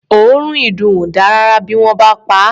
Òórùn ìdùn ò dáa rárá bí wọ́n bá pa á.